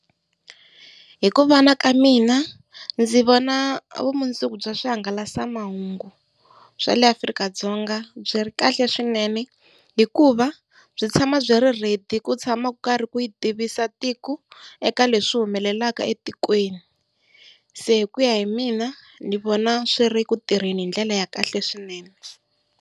Hi ku vona ka mina, ndzi vona vumundzuku bya swihangalasamahungu swa le Afrika-Dzonga byi ri kahle swinene, hikuva byi tshama byi ri ready ku tshama ku karhi ku yi tivisa tiko eka leswi humelelaka etikweni. Se hi ku ya hi mina ni vona swi ri ku tirheni hi ndlela ya kahle swinene.